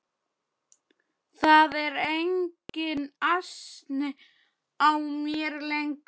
Það er enginn asi á mér lengur.